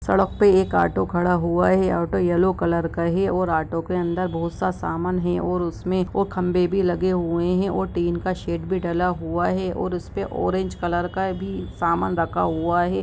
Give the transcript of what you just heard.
सडक पे एक ओटो खड़ा हुआ है ऑटो येलो कलर का हैऔर ओटो के अंदर बहुत सा सामान है और उसमे ओ खंभे भि लगे हुए है और टीन का शेड भि डाला हुआ है ओर उसपे ऑरेंग कलर का भि सामान रखा हुआ है।